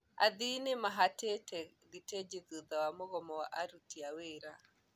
Athii nimahatĩte thitĩji thutha wa mũgomo wa aruti a wĩra.